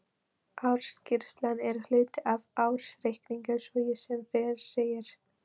Ársskýrslan er hluti af ársreikningi svo sem fyrr segir.